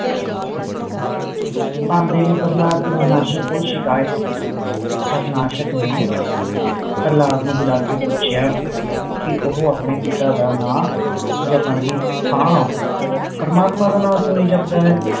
ਪਹੰਦੇ ਨੇ ਪ੍ਰਹਲਾਦ ਦੀ ਹਾਰਨਾਸ਼ਕ ਕੋ ਸ਼ਿਕਾਇਤ ਕੀਤੀ ਹਾਰਨਾਸ਼ਕ ਨੇ ਪ੍ਰਹਲਾਦ ਨੂੰ ਬੁਲਾ ਕੇ ਪੁੱਛਿਆ ਕਿ ਓਹੋ ਆਪਣੇ ਪਿਤਾ ਦਾ ਨਾਂ ਜਪਣ ਦੀ ਥਾਂ ਪ੍ਰਮਾਤਮਾ ਦਾ ਨਾਂ ਹੀ ਕਯੋ ਜਾਪਦਾ ਹੈ